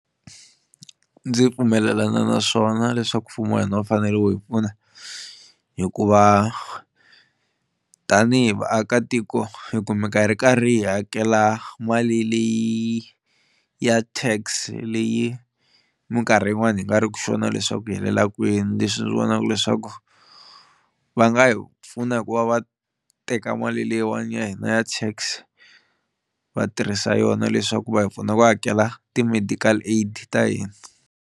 Ndzi pfumelelana na swona leswaku mfumo wa hina wu fanele wu hi pfuna hikuva tanihi vaakatiko hi kumeka hi ri karhi hi hakela mali leyi ya Tax leyi minkarhi yin'wani hi nga ri ku sure leswaku yi helela kwini leswi ndzi vonaka leswaku va nga hi pfuna hikuva va teka mali leyiwani ya hina ya Tax va tirhisa yona leswaku va hi pfuna ku hakela ti-medical aid ta hina.